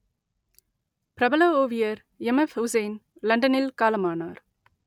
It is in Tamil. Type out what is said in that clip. பிரபல ஓவியர் எம்எப்உசைன் லண்டனில் காலமானார்